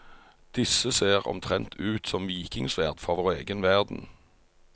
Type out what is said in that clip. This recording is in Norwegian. Disse ser omtrent ut som vikingsverd fra vår egen verden.